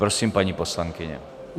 Prosím, paní poslankyně.